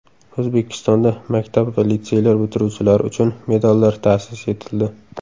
O‘zbekistonda maktab va litseylar bitiruvchilari uchun medallar ta’sis etildi.